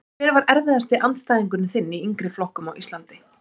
Hver var erfiðasti andstæðingurinn þinn í yngri flokkum á Íslandi?